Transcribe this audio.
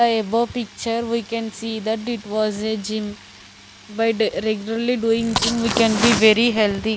the above picture we can see that it was a gym by regurarly doing gym we can be very healthy.